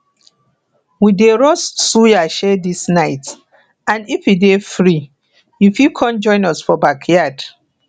we dey roast suya um dis night and if you dey free you dey free you fit con join us for backyard